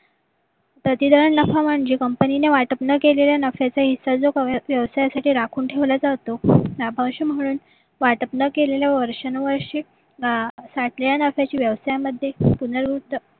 प्रतिधरन नफा म्हणजे company ने वाटप न केलेले नफ्याचे हिस्से जो व्यवसायासाठी राखून ठेवला जातो त्या वाटप न केलेल्या वर्षानुवर्षी साठलेल्या नफ्याची व्यवसाय मध्ये पुनर्वृत्त